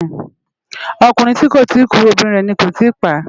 Okúrin ti kó ti kú óbirin rè ni ó tì pá